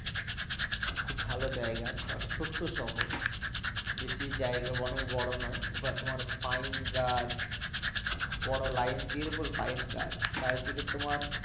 খুব ভালো জাইগা একটা ছোট্ট শহর বেশি জাইগা বা অনেক বড়ো নই ওখানে তোমার পাইন গাছ বড়ো line দিয়ে এরকম পাইন গাছ চারিদিকে তোমার